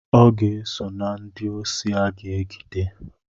Ọ ga-eso na ndị osi aga-egide.